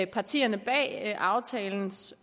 partierne bag aftalens